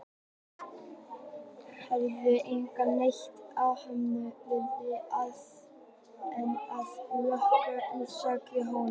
Hér hefur enginn neitt í höndunum fyrr en að lokinni sláturtíð, sagði Jóhann.